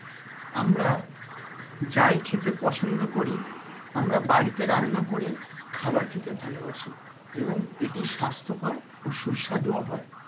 আমরা যাই খেতে পছন্দ করি আমরা বাড়িতে রান্না করে খাবার খেতে ভালোবাসি এবং এটি স্বাস্থ্যকর ও সুস্বাদু হয়।